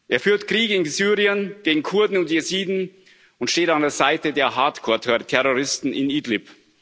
Er führt Krieg in Syrien, gegen Kurden und Jesiden und steht an der Seite der Hardcore Terroristen in Idlib.